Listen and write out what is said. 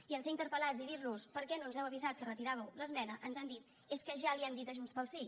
i en ser interpel·lats i dir los per què no ens heu avisat que retiràveu l’esmena ens han dit és que ja li ho hem dit a junts pel sí